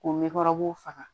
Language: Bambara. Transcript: K'o faga